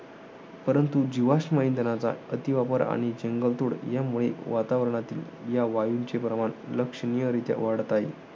परंतु जीवाश्म इंधनांचा अतिवापर आणि जंगलतोड यांमुळे, वातावरणातील या वायूंचे प्रमाण लक्षणीयरित्या वाढत आहे.